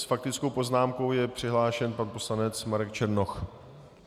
S faktickou poznámkou je přihlášen pan poslanec Marek Černoch.